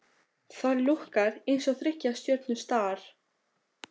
Það lúkkar eins og þriggja stjörnu Star